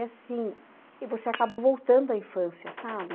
E assim, e você acaba voltando à infância, sabe?